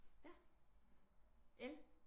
Ja el?